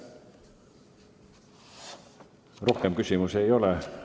Rohkem küsimusi ei ole.